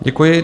Děkuji.